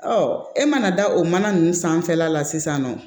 e mana da o mana ninnu sanfɛla la sisan nɔ